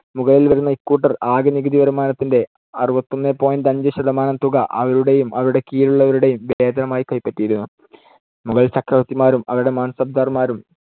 മുകളിൽ വരുന്ന ഇക്കൂട്ടർ ആകെ നികുതിവരുമാനത്തിന്‍ടെ അറുപത്തിയൊന്ന് point അഞ്ചുശതമാനം തുക അവരുടേയും, അവരുടെ കീഴിലുള്ളവരുടേയും വേതനമായി കൈപ്പറ്റിയിരുന്നു. മുഗൾ ചക്രവർത്തിമാരും അവരുടെ മാൻസബ്ദാർമാരും